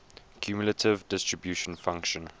cumulative distribution function